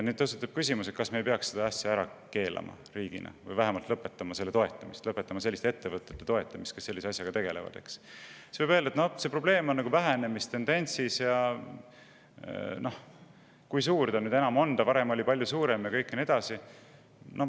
Tõstatub küsimus, kas riik ei peaks seda ära keelama või vähemalt lõpetama selle toetamise, lõpetama selliste ettevõtete toetamise, kes sellise asjaga tegelevad, ja siis öeldakse, et noh, see probleem on vähenemistendentsis ja kui suur nüüd enam on, varem oli see palju suurem ja nii edasi.